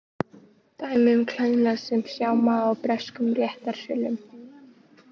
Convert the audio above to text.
Dæmi um klæðnað sem sjá má í breskum réttarsölum.